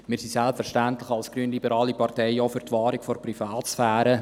Wir sind selbstverständlich als Grünliberale Partei auch für die Wahrung der Privatsphäre.